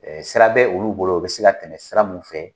sira bɛ olu bolo u bi se ka tɛmɛ sira mun fɛ